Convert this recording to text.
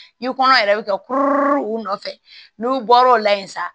I kɔnɔ yɛrɛ bɛ kɛ kuru o nɔfɛ n'u bɔr'o la yen sa